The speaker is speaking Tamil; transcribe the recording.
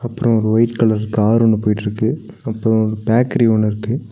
அப்றோ ஒரு ஒயிட் கலர் கார் ஒன்னு போயிட்ருக்கு அப்றோ பேக்கரி ஒன்னு இருக்கு.